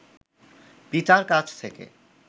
পিতার কাছ থেকে